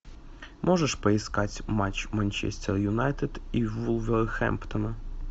можешь поискать матч манчестер юнайтед и вулверхэмптона